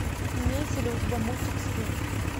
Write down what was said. имеется ли у тебя мультик стыд